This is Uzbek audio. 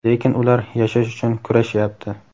lekin ular yashash uchun kurashyapti.